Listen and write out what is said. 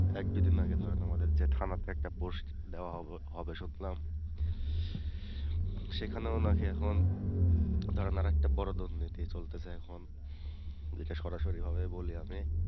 এক দুদিন আগে ধরেন আমাদের যে থানাতে একটা post দেওয়া হবে হবে শুনলাম সেখানেও নাকি এখন ধরেন আরেকটা বড় দুর্নীতি চলতেছে এখন যেটা সরাসরি হবে বলি আমি,